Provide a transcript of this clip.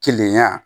Keleya